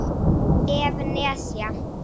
ef. nesja